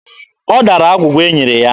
Ọ dara agwụgwa e nyere ya.